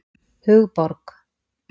Hugborg